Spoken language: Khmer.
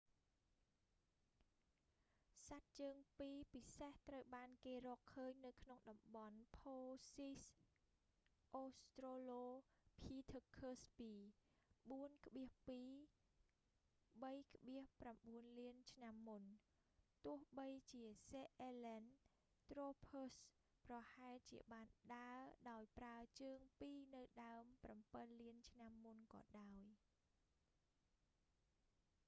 សត្វជើងពីរពិសេសត្រូវបានគេរកឃើញនៅក្នុងតំបន់ផូស៊ីលអូស្រ្តូឡូភីធឺខឹសពី 4,2 - 3,9 លានឆ្នាំមុន ទោះបីជាសេអ៊ែលែនត្រូភឺសប្រហែលជាបានដើរដោយប្រើជើងពីរនៅដើម 7 លានឆ្នាំមុនក៏ដោយ